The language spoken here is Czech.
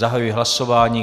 Zahajuji hlasování.